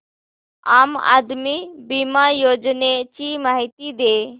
आम आदमी बिमा योजने ची माहिती दे